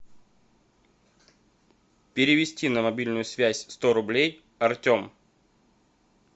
перевести на мобильную связь сто рублей артем